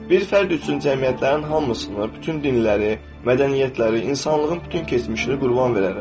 Bir fərd üçün cəmiyyətlərin hamısını, bütün dinləri, mədəniyyətləri, insanlığın bütün keçmişini qurban verərəm.